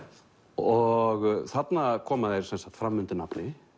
og þarna koma þeir sem sagt fram undir nafni